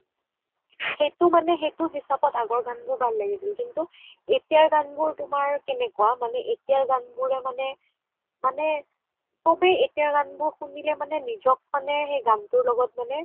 সেইটো মানে সেইটো হিচাপত আগৰ গান বোৰ ভাল লাগিছিল কিন্তু এতিয়াৰ গান বোৰ কেনেকুৱা এতিয়াৰ গান বোৰ তোমাৰ কেনেকুৱা মানে এতিয়াৰ গান বোৰ মানে চবে এতিয়াৰ গান বোৰ শুনিলে মানে নিজক মানে সেই গানটোৰ লগত মানে